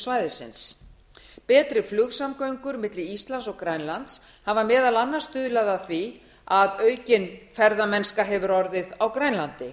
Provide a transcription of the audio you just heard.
svæðisins betri flugsamgöngur milli íslands og grænlands hafa meðal annars stuðlað að því að aukin ferðamennska hefur orðið á grænlandi